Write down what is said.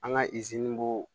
An ka b'o